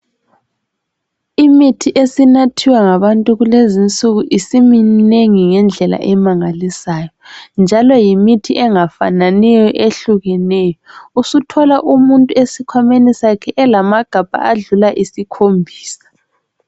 Imithi esinathiwa ngabantu kulezinsuku ,isiminengi ngendlela emangalisayo .Njalo yimithi engafananiyo ehlukeneyo, usuthola umuntu esikhwameni sakhe elamagabha adlula esikhombisa.